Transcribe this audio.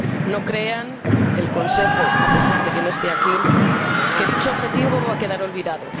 No crea el Consejo, a pesar de que no esté aquí, que dicho objetivo va a quedar olvidado